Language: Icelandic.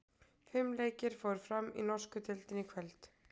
Fimm leikir fóru fram í norsku deildinni í kvöld.